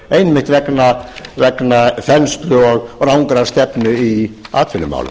einmitt vegna þenslu og rangrar stefnu í atvinnumálum